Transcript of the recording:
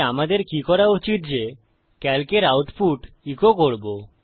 তাই আমাদের কি করা উচিত যে সিএএলসি এর আউটপুট ইকো করবো